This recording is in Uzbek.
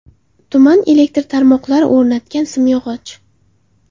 Tuman elektr tarmoqlari o‘rnatgan simyog‘och.